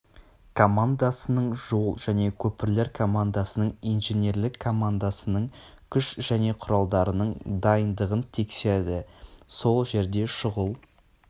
командасының жол және көпірлер командасының инженерлік командасының күш және құралдарының дайындығын тексерді сол жерде шұғыл